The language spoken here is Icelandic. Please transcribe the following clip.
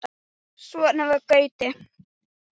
Svona var Gaui.